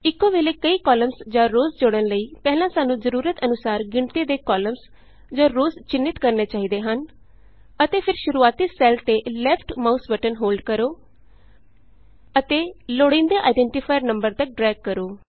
ਇਕੋ ਵੇਲੇ ਕਈ ਕਾਲਮਸ ਜਾਂ ਰੋਅਜ਼ ਜੋੜਨ ਲਈ ਪਹਿਲਾਂ ਸਾਨੂੰ ਜ਼ਰੂਰਤ ਅਨੁਸਾਰ ਗਿਣਤੀ ਦੇ ਕਾਲਮਸ ਜਾਂ ਰੋਅਜ਼ ਚਿੰਨ੍ਹਿਤ ਕਰਨੇ ਚਾਹੀਦੇ ਹਨ ਅਤੇ ਫਿਰ ਸ਼ੁਰੂਆਤੀ ਸੈੱਲ ਤੇ ਲੈਫਟ ਮਾਉਸ ਬਟਨ ਹੋਲਡ ਕਰੋ ਅਤੇ ਲੋੜੀਂਦੇ ਆਈਡੈਂਟਫਾਇਰ ਨੰਬਰ ਤਕ ਡਰੈਗ ਕਰੋ